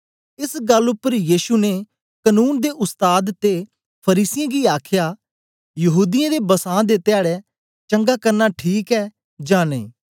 एस गल्ल उपर यीशु ने कनून दे उस्ताद ते फरीसियें गी आखया यहूदीयें दे बसां दे धयाडै चंगा करना ठीक ऐ जां नेई